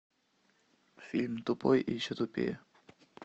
фильм тупой и еще тупее